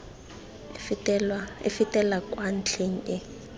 e fetela kwa ntlheng e